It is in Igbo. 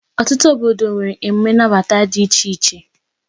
Ọtụtụ obodo nwere emume nnabata dị iche iche.